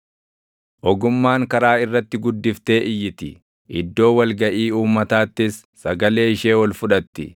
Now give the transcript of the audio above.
Ogummaan karaa irratti guddiftee iyyiti; iddoo wal gaʼii uummataattis sagalee ishee ol fudhatti.